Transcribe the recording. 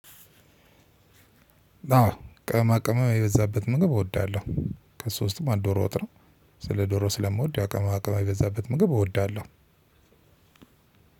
አዎ ቅመማቅመም የበዛበት ምግብ እወዳለሁ ከሱ ውስጥም አንዱ ዶሮ ወጥ ነው። ስለ ዶሮ ስለምወድ ያው ቅመማ ቅመም የበዛበት ምግብ እወዳለሁ።